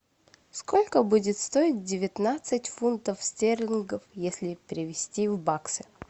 сколько будет стоить девятнадцать фунтов стерлингов если перевести в баксы